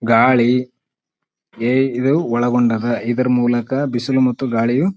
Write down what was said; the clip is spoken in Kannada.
ಗಾಳಿ ಏಯ್ ಇದು ಒಳಗೊಂಡದ ಇದ್ರ ಮೂಲಕ ಬಿಸಿಲು ಮತ್ತು ಗಾಳಿಯು --